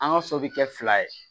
An ka so bɛ kɛ fila ye